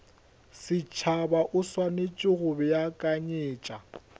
setšhaba o swanetše go beakanyetša